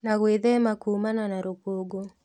Na gwithema kuumana na rũkũngũ